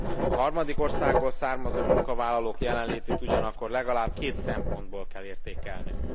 A harmadik országból származó munkavállalók jelenlétét ugyanakkor legalább két szempontból kell értékelnünk.